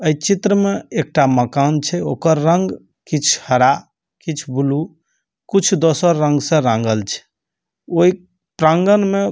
एइ चित्र में एकटा मकान छै ओकर रंग किछ हरा किछ ब्लू कुछ दोसर रंग से रांगल छै ओइ प्रांगण में --